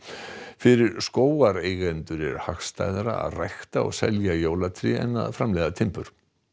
fyrir er hagstæðara að rækta og selja jólatré en að framleiða timbur